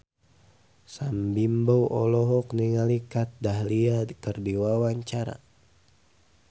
Sam Bimbo olohok ningali Kat Dahlia keur diwawancara